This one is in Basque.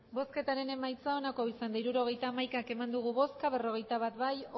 hirurogeita hamaika eman dugu bozka berrogeita bat bai